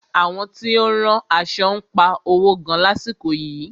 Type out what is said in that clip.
Àwọn tí ó ń rán aṣo ń pa owo gan lásìkò yìí.